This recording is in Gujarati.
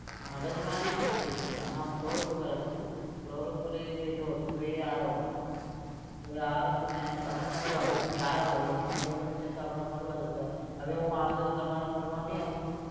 મગજમારી નહીં થઇ હતી આમાં floor ઉપર હતું floor ઉપર એ બેઠો હતો તો એ આવ્યો હતો. તો એ આવ્યો તો મેં એના પાસે મળવા ગયો તો કે આવ્યો ભાઈ એમ આપણો ભાઈબંધ છે તો આપણે મળવા જતા. હવે હું આવતો હતો તમાર મળવા નહીં આવતું?